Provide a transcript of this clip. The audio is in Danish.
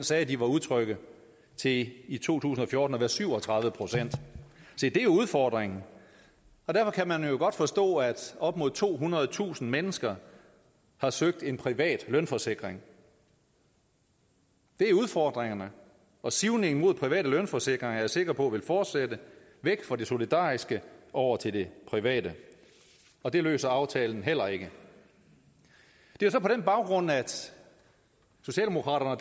sagde at de var utrygge til i i to tusind og fjorten at være syv og tredive procent se det er udfordringen derfor kan man jo godt forstå at op mod tohundredetusind mennesker har søgt en privat lønforsikring det er udfordringerne og sivningen mod private lønforsikringer er jeg sikker på vil fortsætte væk fra det solidariske og over til det private og det løser aftalen heller ikke det er så på den baggrund at socialdemokraterne og